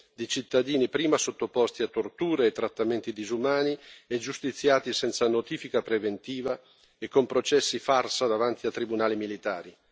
di cittadini, prima sottoposti a torture e trattamenti disumani e giustiziati senza notifica preventiva e con processi farsa davanti a tribunali militari.